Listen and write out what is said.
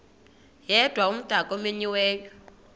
yedwa umdaka omenyiweyo